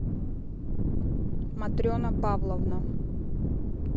матрена павловна